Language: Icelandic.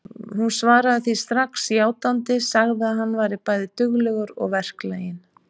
Hún svaraði því strax játandi, sagði að hann væri bæði duglegur og verklaginn.